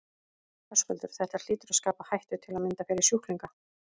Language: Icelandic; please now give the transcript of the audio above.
Höskuldur: Þetta hlýtur að skapa hættu til að mynda fyrir sjúklinga?